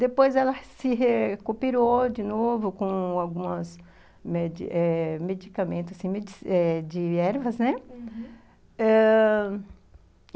Depois ela se recuperou de novo com alguns eh medicamentos de ervas, né? Uhum...ãh...